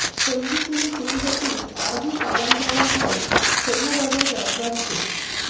সন্ধিপুজো শুরু হতেই আজও কামান দাগা হয় শোভাবাজার রাজবাড়িতে